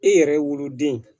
I yɛrɛ woloden